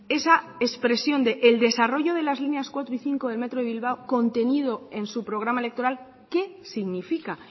esa expresión del desarrollo de las líneas cuatro y cinco del metro de bilbao contenido en su programa electoral qué significa